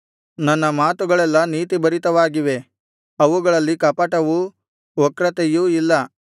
ನನ್ನ ಮಾತುಗಳೆಲ್ಲಾ ನೀತಿಭರಿತವಾಗಿವೆ ಅವುಗಳಲ್ಲಿ ಕಪಟವೂ ವಕ್ರತೆಯೂ ಇಲ್ಲ